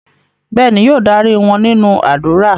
Bẹ́ẹ̀ni, yóò darí wọn nínú ádùrá.